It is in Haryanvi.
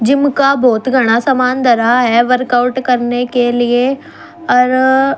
जिम का बहुत घणा समान धरा ह वर्कआउट करने के लिए अर--